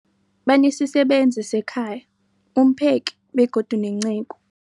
Banesisebenzi sekhaya, umpheki, begodu nenceku.